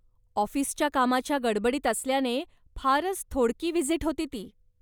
ऑफिसच्या कामाच्या गडबडीत असल्याने फारच थोडकी व्हिजीट होती ती.